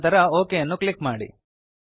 ನಂತರ ಒಕ್ ಅನ್ನು ಕ್ಲಿಕ್ ಮಾಡಿ